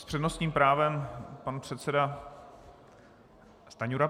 S přednostním právem pan předseda Stanjura.